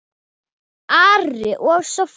Ari og Soffía.